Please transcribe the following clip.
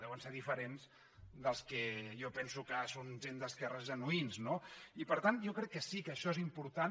deuen ser diferents dels que jo penso que són gent d’esquerres genuïns no i per tant jo crec que sí que això és important